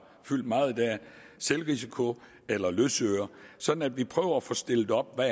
fyldt meget i dag selvrisiko eller løsøre sådan at vi prøver at få stillet op hvad